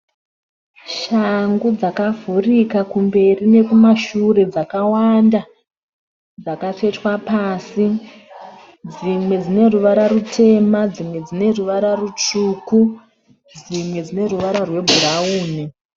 Shangu dzakavhurika kumberi nekumashure dzakawanda dzakatsvetwa pasi, dzimwe dzine ruvara rutema, dzimwe dzine ruvara rutsvuku, dzimwe dzine ruvara rwebhurawuni.